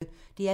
DR P1